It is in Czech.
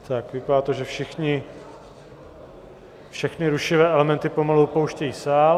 Tak, vypadá to, že všechny rušivé elementy pomalu opouštějí sál.